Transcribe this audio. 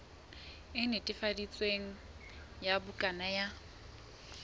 e netefaditsweng ya bukana ya